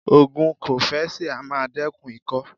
Ògùn kọ́fẹ́sì á máa dẹ́kun ikọ́.